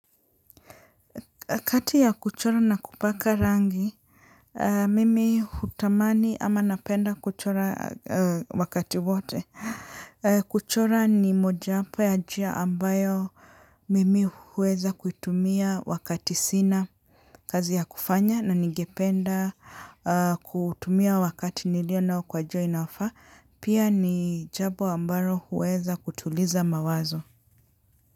Kati ya kuchora na kupaka rangi, mimi hutamani ama napenda kuchora wakati wote. Kuchora ni moja wapo ya njia ambayo mimi huweza kuitumia wakati sina kazi ya kufanya na nigependa kutumia wakati nilio nao kwa njia inayofaa. Pia ni jambo ambalo huweza kutuliza mawazo.